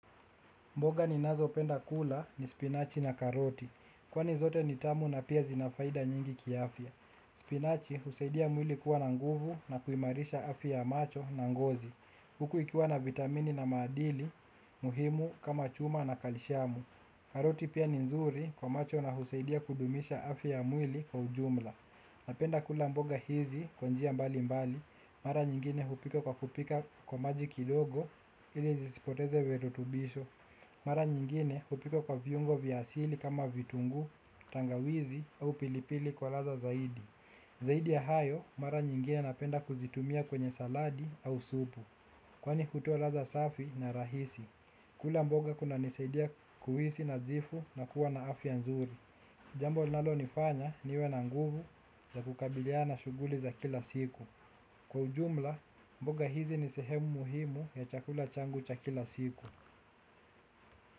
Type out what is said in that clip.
Mboga ninazo penda kula ni spinachi na karoti. Kwani zote nitamu na pia zinafaida nyingi kiafya. Spinachi husaidia mwili kuwa na nguvu na kuimarisha afya ya macho na ngozi. Huku ikiwa na vitamini na maadili, muhimu kama chuma na kalishamu. Karoti pia ni nzuri kwa macho na husaidia kudumisha afya ya mwili kwa ujumla. Napenda kula mboga hizi kwa njia mbali mbali, mara nyingine hupika kwa kupika kwa maji kidogo ili zisipoteze virutubisho. Mara nyingine hupika kwa viungo vya asili kama vitunguu, tangawizi au pilipili kwa ladha zaidi. Zaidi ya hayo, mara nyingine napenda kuzitumia kwenye saladi au supu. Kwani hutoa ladha safi na rahisi. Kula mboga kuna nisaidia kuhisi nadhifu na kuwa na afya nzuri. Jambo linalo nifanya niwe na nguvu ya kukabiliana na shuguli za kila siku. Kwa ujumla, mboga hizi ni sehemu muhimu ya chakula changu cha kila siku.